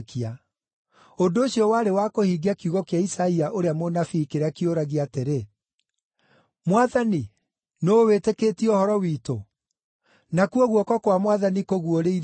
Ũndũ ũcio warĩ wa kũhingia kiugo kĩa Isaia ũrĩa mũnabii kĩrĩa kĩũragia atĩrĩ: “Mwathani, nũũ wĩtĩkĩtie ũhoro witũ, nakuo guoko kwa Mwathani kũguũrĩirio ũ?”